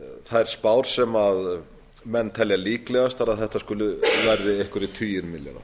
þær spár sem menn telja líklegastar að þetta verði einhverjir tugir milljarða